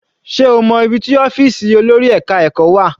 Sé o mọ́ ibi tí ọ́fìsì olórí ẹka ẹ̀kọ́ wà?